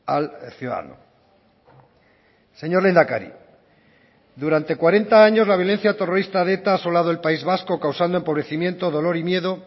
al ciudadano señor lehendakari durante cuarenta años la violencia terrorista de eta ha asolado el país vasco causando empobrecimiento dolor y miedo